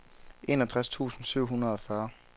enogtres tusind syv hundrede og fyrre